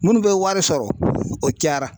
Minnu bɛ wari sɔrɔ o cayara